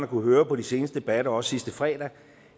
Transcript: kunnet høre på de seneste debatter også sidste fredag